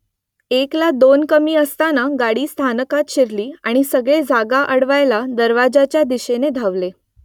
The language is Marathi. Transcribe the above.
एकला दोन कमी असताना गाडी स्थानकात शिरली आणि सगळे जागा अडवायला दरवाज्याच्या दिशेने धावले